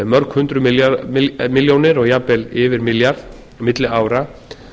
mörg hundruð milljónir og jafnvel yfir milljarð milli ára